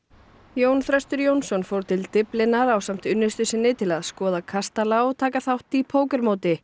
Jón Þröstur Jónsson fór til Dyflinnar ásamt unnustu sinni til að skoða kastala og taka þátt í